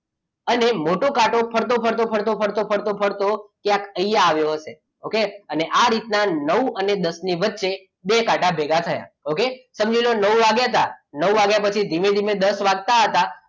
અને મોટો કાંટો ફરતો ફરતો ફરતો ફરતો ક્યાંક અહીંયા આવ્યો હશે પણ okay અને આ રીતના નવ અને દસની વચ્ચે બે કાંટા ભેગા થયા okay સમજી લો નવ વાગ્યા હતા નવ વાગ્યા પછી ધીમે ધીમે દસ વાગતા હતા